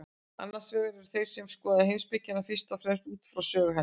Annars vegar eru þeir sem skoða heimspekina fyrst og fremst út frá sögu hennar.